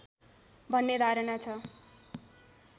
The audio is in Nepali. भन्ने धारणा छ